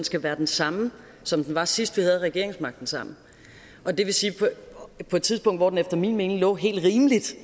skal være den samme som den var sidst vi havde regeringsmagten sammen og det vil sige på et tidspunkt hvor den efter min mening lå helt rimeligt